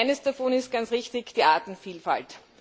Und eines davon ist ganz richtig die Artenvielfalt.